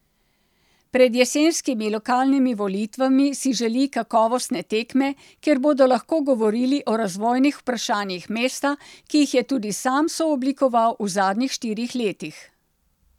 Pred jesenskimi lokalnimi volitvami si želi kakovostne tekme, kjer bodo lahko govorili o razvojnih vprašanjih mesta, ki jih je tudi sam sooblikoval v zadnjih štirih letih.